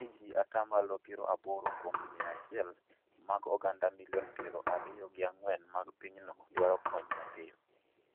ni ji ata malo piero aboro kuom mia achiel mag oganda milion piero ariyo gi ang'wen mag pinyno dwaro kony mapiyo.